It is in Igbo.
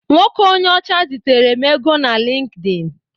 Nwoke onye ọcha zitere m ego na Lịnkdịn.